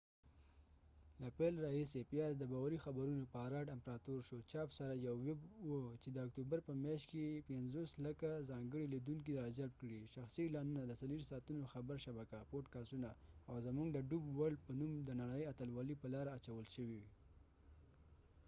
له پیل راهیسې، پیاز د باوري خبرونو پاراډ امپراتور شو، چاپ سره، یوه ویب وه چې د اکتوبر په میاشت کې 5،000،000 ځانګړي لیدونکي راجلب کړي، شخصي اعلانونه، د 24 ساعتونو خبر شبکه، پوډکاسټونه، او زموږ د ډوب ورلډ په نوم د نړۍ اتلولۍ په لاره اچول شوي۔